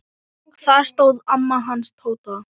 Þar stóð amma hans Tóta.